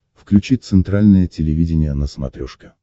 включи центральное телевидение на смотрешке